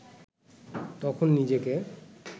তখন নিজেকে